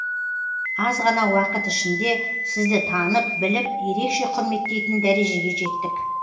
аз ғана уақыт ішінде сізді танып біліп ерекше құрметтейтін дәрежеге жеттік